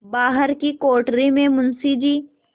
बाहर की कोठरी में मुंशी जी